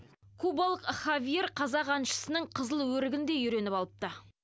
кубалық хавьер қазақ әншісінің қызыл өрігін де үйреніп алыпты